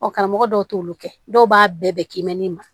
Ɔ karamɔgɔ dɔw t'olu kɛ dɔw b'a bɛɛ kɛ kimɛni ma